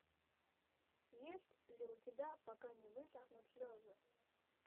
есть ли у тебя пока не высохнут слезы